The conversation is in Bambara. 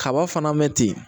Kaba fana mɛ ten